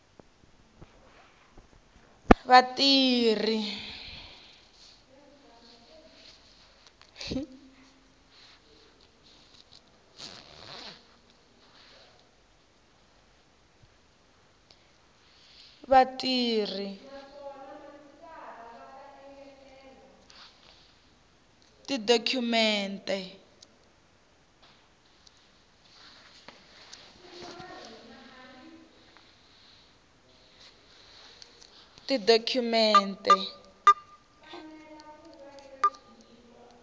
tala vatirhi va tidokhumente a